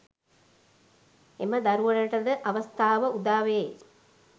එම දරුවනට ද අවස්ථාව උදාවේ.